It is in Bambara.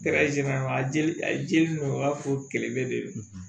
Kɛra a jeli de don a b'a fɔ kɛlɛkɛ de do